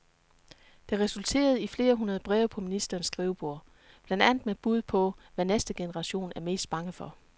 Det resulterede i flere hundrede breve på ministerens skrivebord, blandt andet med bud på, hvad næste generation er mest bange for.